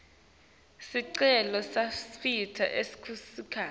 sicelo setinsita tekusakata